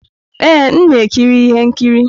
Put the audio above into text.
Ee, m na-ekiri ihe nkiri.